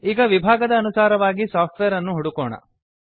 ಈಗ ವಿಭಾಗದ ಅನುಸಾರವಾಗಿ ಸಾಫ್ಟ್ವೇರ್ ಅನ್ನು ಹುಡುಕೋಣ